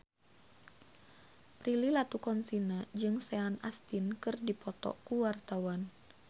Prilly Latuconsina jeung Sean Astin keur dipoto ku wartawan